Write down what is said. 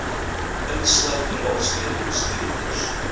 insluit raadslede bestuurders